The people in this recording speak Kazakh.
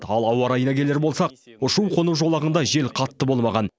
ал ауа райына келер болсақ ұшу қону жолағында жел қатты болмаған